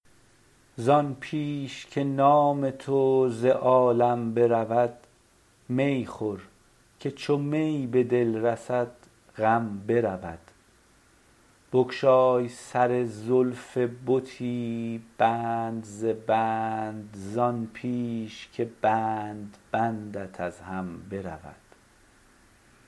زان پیش که نام تو ز عالم برود می خور که چو می به دل رسد غم برود بگشای سر زلف بتی بند ز بند زان پیش که بند بندت از هم برود